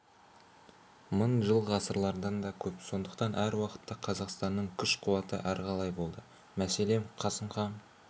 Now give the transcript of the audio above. мың жыл ғасырлардан да көп сондықтан әр уақытта қазақстанның күш-қуаты әрқалай болды мәселен қасым іан